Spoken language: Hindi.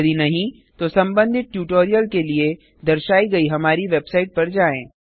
यदि नहीं तो संबधित ट्यूटोरियल के लिए दर्शाई गयी हमारी वेबसाइट पर जाएँ